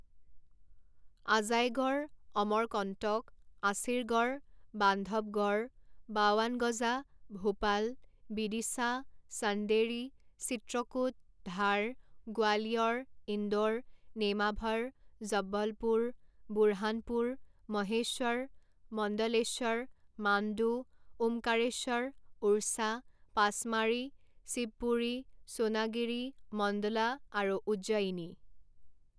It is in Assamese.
আজাইগড়, অমৰকণ্টক, আছিৰগড়, বান্ধৱগড়, বাৱানগজা, ভূপাল, বিদিশা, চান্দেৰী, চিত্ৰকূট, ধাৰ, গোৱালিয়ৰ, ইন্দোৰ, নেমাভৰ, জব্বলপুৰ, বুৰহানপুৰ, মহেশ্বৰ, মণ্ডলেশ্বৰ, মাণ্ডু, ওমকাৰেশ্বৰ, ওড়ছা, পাচমাঢ়ি, শিৱপুৰী, সোণাগিৰি, মণ্ডলা আৰু উজ্জয়িনী।